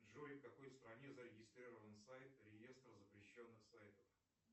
джой в какой стране зарегистрирован сайт реестр запрещенных сайтов